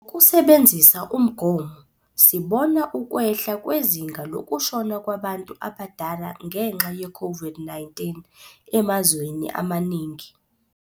Ngokusebenzisa umgomo, sibona ukwehla kwezinga lokushona kwabantu abadala ngenxa yeCOVID-19 emazweni amaningi.